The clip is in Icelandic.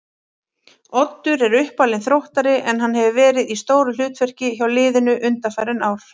Oddur er uppalinn Þróttari en hann hefur verið í stóru hlutverki hjá liðinu undanfarin ár.